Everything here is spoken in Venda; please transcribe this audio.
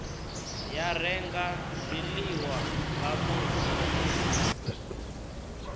ya renga zwiḽiwa nga vhunzhi